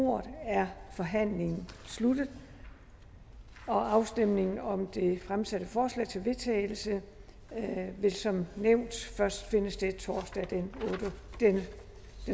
ordet er forhandlingen sluttet afstemningen om det fremsatte forslag til vedtagelse vil som nævnt først finde sted torsdag den